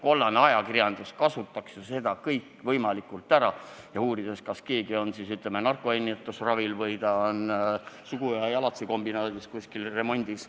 Kollane ajakirjandus kasutaks ju seda kõikvõimalikult ära, uuriks näiteks, kas keegi on narkoennetusravil või kuskil sugu- ja jalatsikombinaadis remondis.